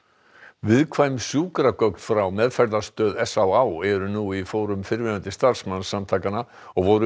viðkvæm sjúkragögn frá meðferðarstöð s á á eru nú í fórum fyrrverandi starfsmanns samtakanna og voru um